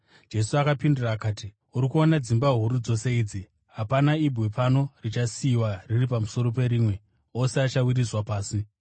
Jesu akapindura akati, “Uri kuona dzimba huru dzose idzi? Hapana ibwe pano richasiyiwa riri pamusoro perimwe; ose achawisirwa pasi.”